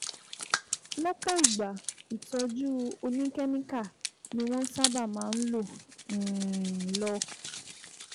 Lọ́pọ̀ ìgbà, ìtọ́jú oníkẹ́míkà ni wọ́n sábà máa ń um lò